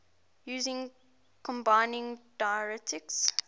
using combining diacritics